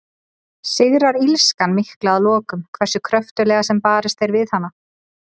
Sigrar illskan mikla að lokum, hversu kröftuglega sem barist er við hana?